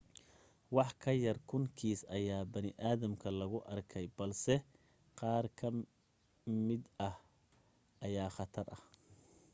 wax ka yar kun kiis ayaa bini aadamka lagu arkay balse qaar ka mid ah ayaa khatar ah